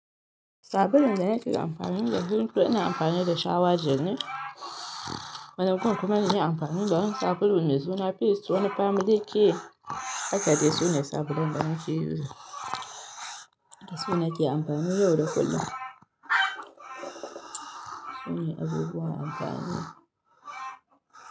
Sabulun da nake amfani da shi toh ina amfani da shower gel ne. Wani gun kuma inyi amfanin da wani sabulu mai suna Face wani Family Care. Hakane su ne sabulun da nake using da su nake amfani yau da kullum. Sune abubuwan amfani.